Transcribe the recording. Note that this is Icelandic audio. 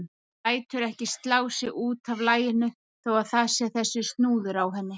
Lætur ekki slá sig út af laginu þó að það sé þessi snúður á henni.